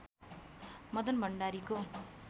मदन भण्डारीको